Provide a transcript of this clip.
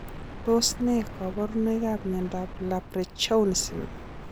Tos ne kaborunoikap miondop Leprechaunism